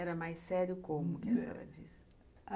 Era mais sério como?